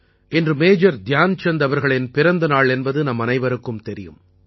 இன்று மேஜர் தியான்சந்த் அவர்களின் பிறந்தநாள் என்பது நம்மனைவருக்கும் தெரியும்